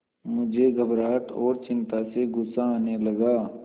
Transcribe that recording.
मुझे घबराहट और चिंता से गुस्सा आने लगा